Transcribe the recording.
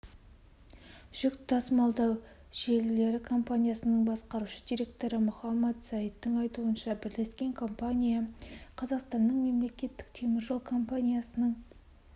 жүк тасымалдау желілері компаниясының басқарушы директоры мохаммад саидтің айтуынша бірлескен компания қазақстанның мемлекеттік темір жол компаниясының